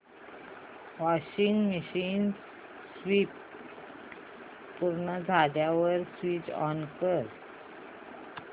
washing machine spin पूर्ण झाल्यावर switch off कर